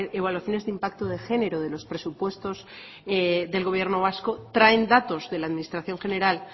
evaluaciones de impacto de género de los presupuestos del gobierno vasco traen datos de la administración general